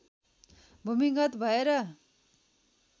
भूमिगत भएर